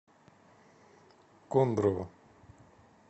кондрово